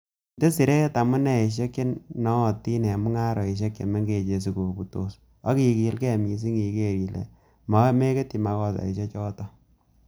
Inde siret amuneisiek che nootin en mung'arosiek che mengechen sikobutos, ak igilge missing iker ile meketyi makosaisiek choton.